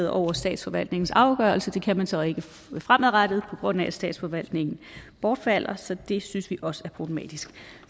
over statsforvaltningens afgørelser men det kan man så ikke fremadrettet på grund af at statsforvaltningen bortfalder så det synes vi også er problematisk